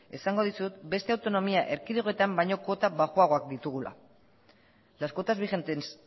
esango dizut beste autonomia erkidegoetan baino kuota baxuagoak ditugula las cuotas vigentes